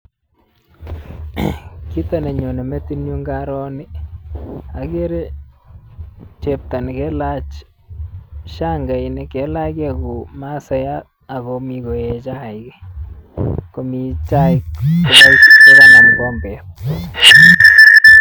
Kito nenyonei metinyun ngaaro nii, ageere chepto nekeelach shangainik, nekailachkei kou masaiyat akomi koek chaik, komi chai ak kanam kikombet.